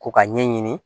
Ko ka ɲɛɲini